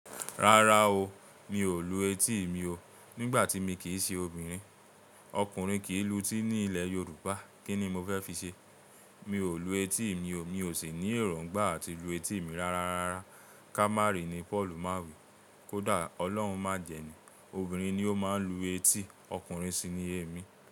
Rárá o, mi ò lu etí mi o. Nígbà tí mi kì í ṣe obìnrin, ọkùnrin kì í lu etí ní ilẹ̀ Yorùbá. Kí ni mo fẹ́ fi ṣe? Mi ò lu etí mi o, mi ò sì ní èròngbà àti lu etí mi rárá, ká má rí ni Paul má wí. Kódà Ọlọ́run má jẹ́ ni, obìnrin ni ó máa ń lu etí, ọkùnrin sì ni ẹmi.